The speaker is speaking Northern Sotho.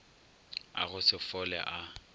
a go se fole a